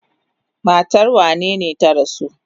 Matar wanene ta rasu?